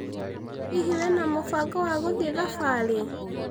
Hihi wĩna mũbango wa gũthĩe thabarĩ?